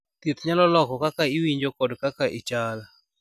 thieth nyalo loko kaka iwinjo kod kaka ichal